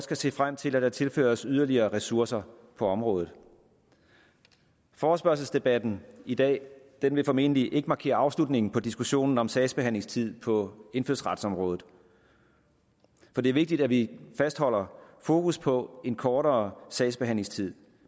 kan se frem til at der tilføres yderligere ressourcer på området forespørgselsdebatten i dag vil formentlig ikke markere afslutningen på diskussionen om sagsbehandlingstid på indfødsretsområdet for det er vigtigt at vi fastholder fokus på en kortere sagsbehandlingstid